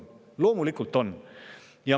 Loomulikult on!